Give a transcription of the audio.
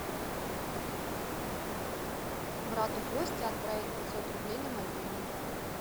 брату косте отправить пятьсот рублей на мобильный